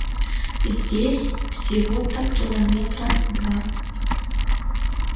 здесь всего-то километра два